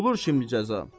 Bulur şimdi cəza.